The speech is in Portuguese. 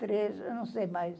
Trejo, não sei mais.